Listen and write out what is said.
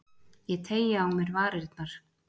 Ég teygi á mér varirnar.